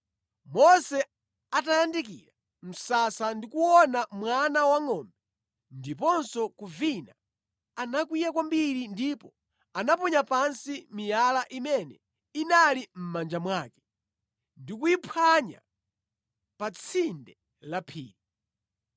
Mose atayandikira msasa ndi kuona mwana wangʼombe ndiponso kuvina, anakwiya kwambiri ndipo anaponya pansi miyala imene inali mʼmanja mwake, ndi kuyiphwanya pa tsinde la phiri.